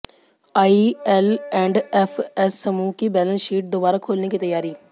IL&FS समूह की balance sheet दोबारा खोलने की तैयारी